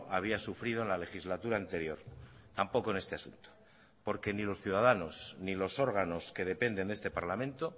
había sufrido en la legislatura anterior tampoco en este asunto porque ni los ciudadanos ni los órganos que dependen de este parlamento